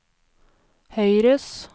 høyres